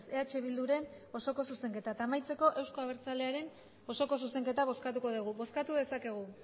eh bilduren osoko zuzenketa eta amaitzeko euzko abertzalearen osoko zuzenketa bozkatuko dugu bozkatu dezakegu